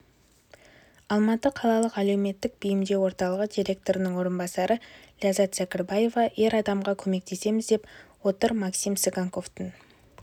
алматы қалалық әлеуметтік бейімдеу орталығы директорының орынбасары ләззат зәкірбаева ер адамға көмектесеміз деп отыр максим цыганковтың